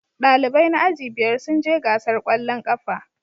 Dalibai na aji biyar sun je gasar kwallon kafa